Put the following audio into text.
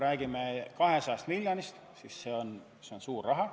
200 miljonit eurot on suur raha.